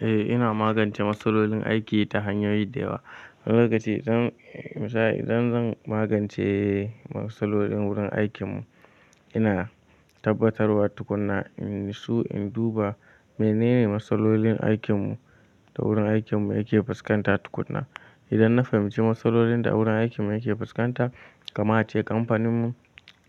Eh ina magance matsalolin aiki ta hanyoyi da yawa. Wani lokaci idan misali idan zan magance matsalolin wurin aikinmu ina tabbatarwa tukunna in natsu in duba menene matsalolin aikinmu da wurin aikinmu yake fuskanta tukunna. Idan na fahimci matsalolin da wurin aikinmu yake fuskanta, kaman a ce kamfaninmu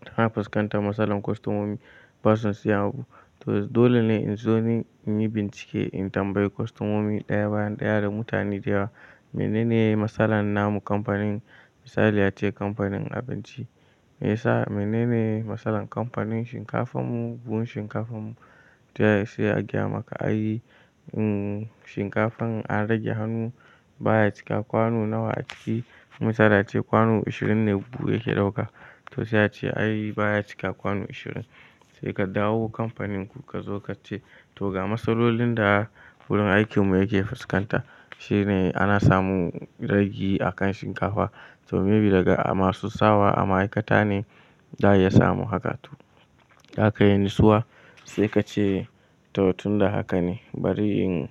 tana fuskantar matsalar kwastomomi basu son siyan abu. To dole ne in zo ni in yi bincike, in tambayi kwastomomi ɗaya bayan ɗaya da mutane da yawa menene matsalan namu kamfanin misali ace kamfanin abinci. Me yasa menene matsalan kamfanin shinkafanmu, buhun shinkafanmu? To sai a gaya maka ai, shinkafan an rage hannu baya cika kwano nawa a ciki. Misali a ce kwano ashirin ne buhu yake ɗauka. To sai ya ce ai baya cika kwano ashirin. Sai ka dawo kamfaninku ka zo ka ce to ga matsalolin da wurin aikinmu yake fuskanta. Shi ne ana samu ragi a kan shinkafa. To maybe daga masu sawa a ma'aikata ne za a iya samun haka. Zaka iya natsuwa sai ka ce to tun da haka ne bari in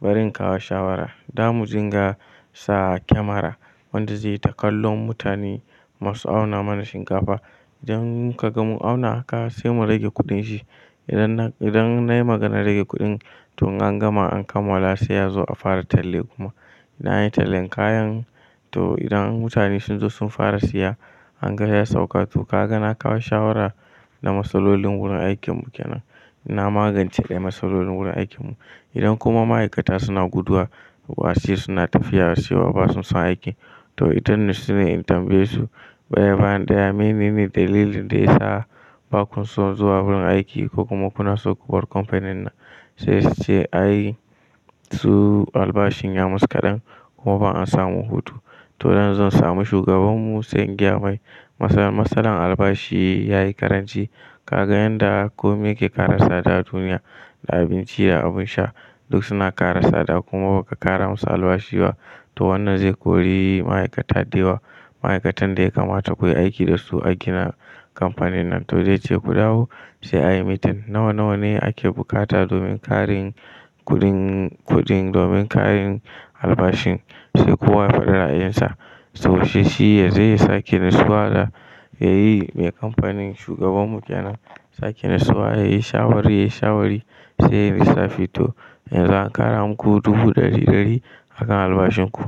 bari in kawo shawara. Da mu dingasa kyamara wanda zai yi takallon mutane masu auna mana shinkafa. Idan ka gan mu auna haka sai mu rage kuɗin shi. Idan nan idan nayi maganar rage kuɗin, to an gama an kammala sai ya zo a fara talle kuma. Na yi tallan kayan to idan mutane sun zo sun fara siya, an gane ya sauka. To ka ga na kawo shawara na matsalolin wurin aikinmu kenan. Na magance ɗaya matsalolin wurin aikinmu. Idan kuma ma'aikata suna guduwa wasu suna tafiya wasu ba su san aiki, to ita ne su ne in tambaye su ɗaya bayan ɗaya menene dalilin da ya sa ba ku so zuwa wurin aiki ko kuma kuna so kubar kamfanin nan. Sai su ce ai su albashin ya musu kaɗan kuma ba an samu hutu. To zan zo samu shugabanmu sai in gaya mai matsalar albashi ya yi ƙaranci. Ka ga yanda komai yake ƙara tsada duniya da abinci da abin sha duk suna ƙara tsada kuma baka ƙara musu albashi ba, to wannan zai kori ma'aikata da yawa. Ma'aikatan da ya kamata ku yi aiki da su a gina kamfanin nan. To zai ce ku dawo sai ayi meeting nawa nawa ne ake bukata domin ƙarin kuɗin kuɗin domin ƙarin albashin sai kowa ya faɗi ra'ayinsa. To shi shi ya zai sake nisuwa da ya yi mai kamfanin shugabanmu kenan sake nisuwa ya yi shawari ya yi shawari sai ya yi lissafi to yanzu an ƙara muku dubu ɗari ɗari a kan albashin ku.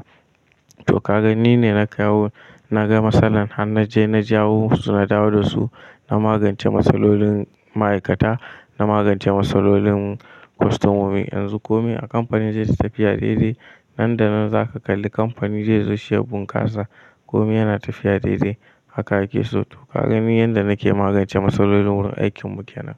To ka gani ni ne na kawo na ga matsalar har na je na jawo su na dawo da su, na magance matsalolin ma'aikata, na magance matsalolin kwastomomi. Yanzu komai a kamfanin zai yi tafiya daidai. Nan da nan za ka kalli kamfani zai zo seya bunƙasa. Komai yana tafiya daidai haka ake so. To ka gani yadda nake magance matsalolin wurin aikinmu kenan.